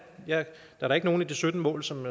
der er da ikke nogen af de sytten mål som